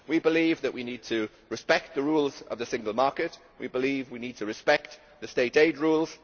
We believe we need to respect the rules of the single market, we believe we need to respect the state aid rules.